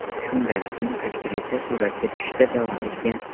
Shundan keyin aktrisa suratga tushishda davom etgan.